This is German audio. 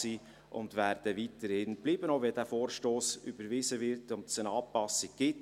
Diese werden weiterhin bestehen bleiben, auch wenn dieser Vorstoss überwiesen wird und es eine Anpassung gibt.